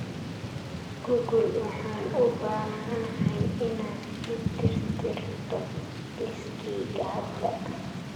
google waxaan u baahanahay inaad ii tirtirto liiskayga hadda